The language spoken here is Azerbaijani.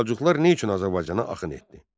Səlcuqlar niyə üçün Azərbaycana axın etdi?